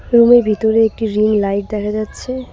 রুমের ভিতরে একটি রিং লাইট দেখা যাচ্ছে।